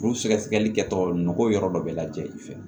Kuru sɛgɛsɛgɛli kɛtɔ nɔgɔ yɔrɔ dɔ bɛ lajɛ i fɛ